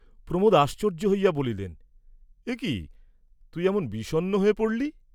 প্রমোদ আশ্চর্য্য হইয়া বলিলেন, একি তুই এমন বিষণ্ণ হয়ে পড়লি?